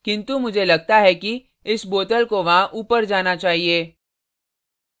किन्तु मुझे लगता है कि इस bottle को वहां ऊपर जाना चाहिए